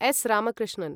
S. Ramakrishnan